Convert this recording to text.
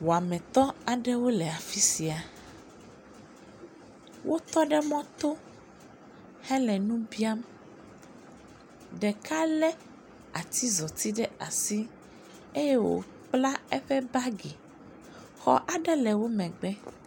Wɔametɔ aɖewo le afisia, wotɔ ɖe mɔto hele nu biam. Ɖeka le atizɔti ɖe asi eye wòkpla eƒe bagi, xɔ aɖe le woƒe megbe.